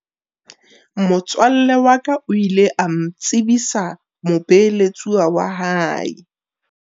Motswalle wa ka o ile a ntsebisa mobeeletsuwa wa hae.